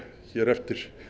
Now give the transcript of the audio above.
hér eftir